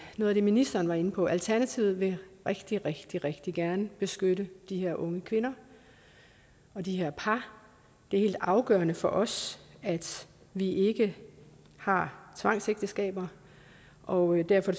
noget af det ministeren var inde på alternativet vil rigtig rigtig rigtig gerne beskytte de her unge kvinder og de her par det er helt afgørende for os at vi ikke har tvangsægteskaber og derfor